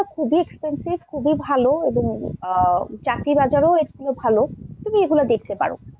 খুবই expensive খুবই ভাল এবং আহ চাকরির বাজারও এগুলোর ভাল, তুমি এগুলো দেখতে পারো।